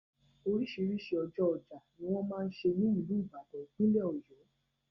Oríṣiríṣi ọjọ́ ọjà ni wọ́n máa n ṣe ní ìlú Ìbàdàn, ìpínlẹ̀ ọ̀yọ́.